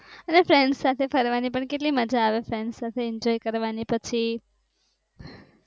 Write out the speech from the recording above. friends સાથે ફરવાની પણ કેટલી મજા આવે friends સાથે enjoy કરવાની પછી